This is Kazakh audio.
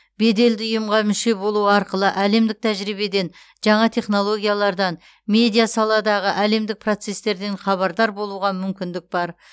беделді ұйымға мүше болу арқылы әлемдік тәжірибеден жаңа технологиялардан медиасаладағы әлемдік процестерден хабардар болуға мүмкіндік бар